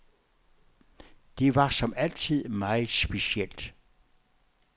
Det var som altid meget specielt.